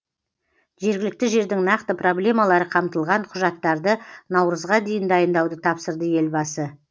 жергілікті жердің нақты проблемалары қамтылған құжаттарды наурызға дейін дайындауды тапсырды елбасы